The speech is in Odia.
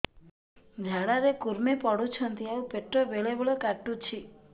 ଝାଡା ରେ କୁର୍ମି ପଡୁଛନ୍ତି ଆଉ ପେଟ ବେଳେ ବେଳେ କାଟୁଛି